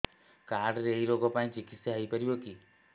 card ରେ ଏଇ ରୋଗ ପାଇଁ ଚିକିତ୍ସା ହେଇପାରିବ କି